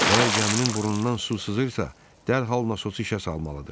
Əgər gəminin burnundan su sızırsa, dərhal nasosu işə salmalıdır.